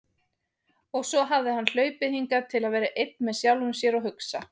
Og svo hafði hann hlaupið hingað til að vera einn með sjálfum sér og hugsa.